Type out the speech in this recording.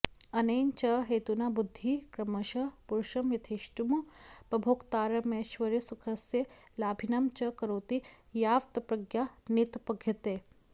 अनेन च हेतुना बुद्धिः क्रमशः पुरुषं यथेष्टमुपभोक्तारमैश्वर्यसुखस्य लाभिनं च करोति यावत्प्रज्ञा नोत्पद्यते